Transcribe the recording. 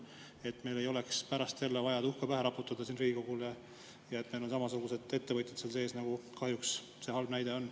meil ei oleks pärast jälle vaja endale tuhka pähe raputada siin Riigikogus, sest meil on samasugused ettevõtjad seal sees, nagu kahjuks see halb näide on.